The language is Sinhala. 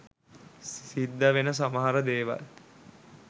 සිද්දවෙන සමහර දේවල්.